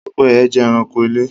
Pẹ́pẹ́yẹ jẹ́ ẹranko ilé